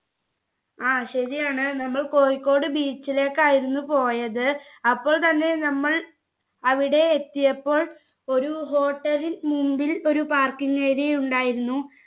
ആ ശരിയാണ് നമ്മൾ കോഴിക്കോട് beach ലേക്കായിരുന്നു പോയത് അപ്പോൾ താനെ നമ്മൾ അവിടെ എത്തിയപ്പോൾ ഒരു hotel ൽ മുമ്പിൽ ഒരു parking area ഉണ്ടായിരുന്നു